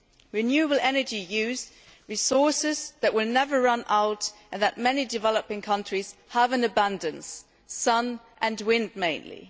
Renewable energy uses resources that will never run out and that many developing countries have in abundance sun and wind mainly.